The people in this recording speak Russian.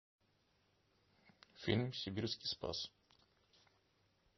фильм сибирский спас